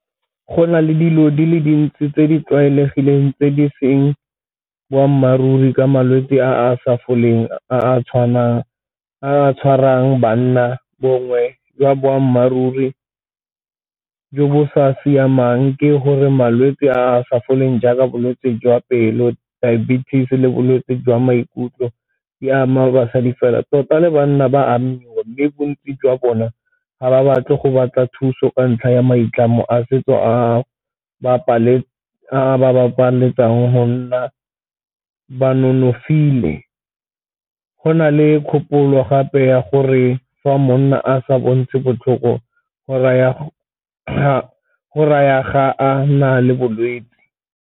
Go na le dilo di le dintsi tse di tlwaelegileng tse di seng boammaaruri ka malwetse a a sa foleng a a tshwarang banna, bongwe jwa boammaaruri jo bo sa siamang ke gore malwetse a a sa foleng jaaka bolwetse jwa pelo, diabetes le bolwetse jwa maikutlo e ama basadi fela tota banna ba amiwa. Mme bontsi jwa bona ga ba batle go batla thuso ka ntlha ya maitlamo a setso a ba go nna ba nonofile. Go na le kgopolo gape ya gore fa monna a sa bo ntse botlhoko go raya na le bolwetse.